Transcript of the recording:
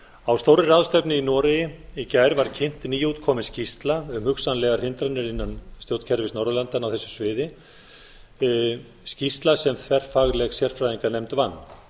á stórri ráðstefnu í noregi í gær var kynnt nýútkomin skýrsla um hugsanlegar hindranir innan stjórnkerfis norðurlandanna á þessu sviði skýrsla sem þverfagleg sérfræðinganefnd vann